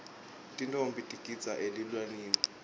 tintfombi tigidza elilawini